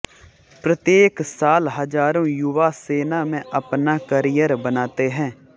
प्रत्येक साल हजारो युवा सेना में अपना करियर बनाते हैं